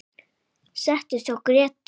Settist hjá Grétu.